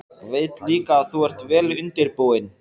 Veit líka að þú ert vel undirbúinn.